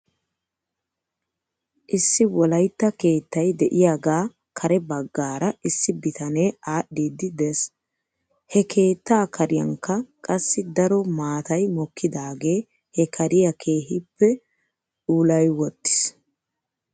Issi wolaytta keettay de'iyaagaa kare baggaara issi bitanee aadhdhiiddi des. He keettaa kariyankka qassi daro maatay mokkidaagee he kariyaa keehippe ouulayiwttis.